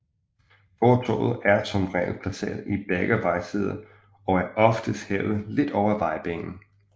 Fortovet er som regel placeret i begge vejsider og er oftest hævet lidt over vejbanen